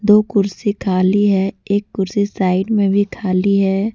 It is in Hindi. दो कुर्सी खाली है एक कुर्सी साइड में भी खाली है।